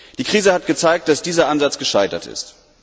Die Krise hat gezeigt, dass dieser Ansatz gescheitert ist.